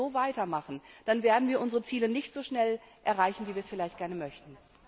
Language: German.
Wenn wir so weitermachen, dann werden wir unsere Ziele nicht so schnell erreichen, wie wir es vielleicht gerne möchten.